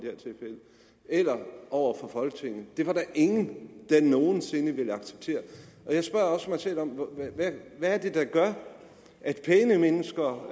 eller over for folketinget det var der ingen der nogen sinde ville acceptere jeg spørger også mig selv om hvad det er der gør at pæne mennesker